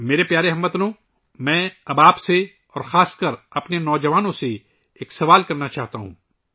میرے پیارے ہم وطنو، اب میں آپ سے اور خاص کر ہمارے نوجوانوں سے ایک سوال پوچھنا چاہتا ہوں